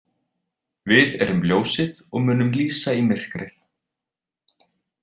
Við erum ljósið og munum lýsa í myrkrið.